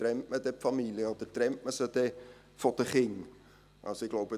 Trennt man dann die Familien, oder trennt man sie dann von den Kindern?